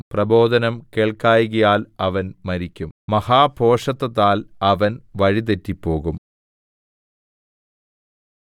പ്രബോധനം കേൾക്കായ്കയാൽ അവൻ മരിക്കും മഹാഭോഷത്തത്താൽ അവൻ വഴിതെറ്റിപ്പോകും